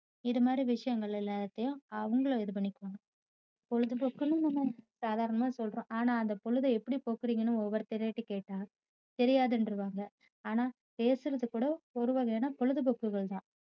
இதுமாதிரி விஷயங்கள் எல்லாத்தையும் அவங்களும் இது பண்ணிக்குவாங்க பொழுதுபோக்குன்னு நம்ம சாதாரணமா சொல்றோம் ஆனா அந்த பொழுதை எப்படி போக்குறீங்கன்னு ஒவ்வொருதர் கிட்டேயும் கேட்டா தெரியாதுன்றுவாங்க ஆனா பேசுறது கூட ஒருவகையான பொழுதுபோக்குகள் தான்